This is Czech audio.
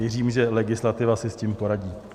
Věřím, že legislativa si s tím poradí.